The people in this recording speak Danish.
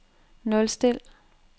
nulstil